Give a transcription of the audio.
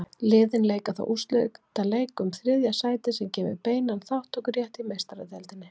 Liðin leika þá úrslitaleik um þriðja sætið sem gefur beinan þátttökurétt í Meistaradeildinni.